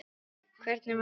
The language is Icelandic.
Hvernig var líf þeirra?